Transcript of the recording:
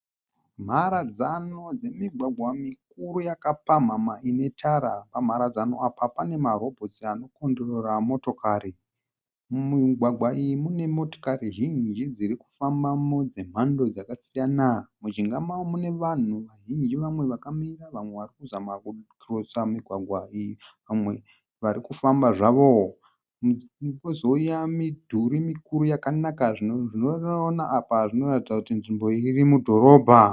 Mharadzano dzemigwagwa mikuru yakapamhamha inetara. Pamharadzano apa pane ma robotsi ano kotirora motokari. Mumigwagwa iyi mune motikari zhinji dzirikufambamo dzemhando dzakasiyana. Mujinga mao mune vanhu vazhinji vamwe vakamira vamwe varikuzama kukirosa migwagwa iyi. Vamwe varikufambamo zvavo. Kozouya midhurii mikuru yakanaka. Zvatoona apa zvinoratidza kuti nzvimbo iyi irimudhorobha.